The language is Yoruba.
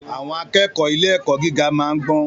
Àwọn akẹ́kọ̀ọ́ ilé-ẹ̀kọ́ gíga máa ń gbọ́n.